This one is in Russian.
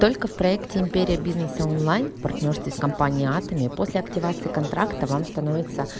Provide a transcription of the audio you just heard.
только в проекте империя бизнеса онлайн в партнёрстве с компанией атоми после активации контракта вам становится